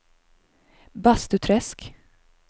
Bastuträsk